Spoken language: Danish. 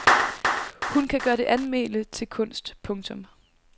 Hun kan gøre det almene til kunst. punktum